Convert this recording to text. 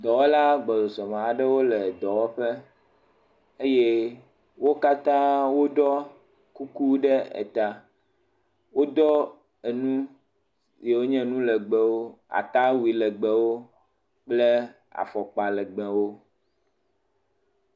Dɔwɔla agbɔsɔsɔ me aɖe le dɔwɔƒe eye wo katã woɖɔ kuku ɖe ta, woɖɔ enu yiwo nye nu legbewo atawui legbewo kple afɔkpa legbewo.